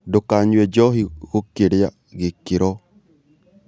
Ndũkanyũe njohĩ gũkĩrĩa gĩkĩro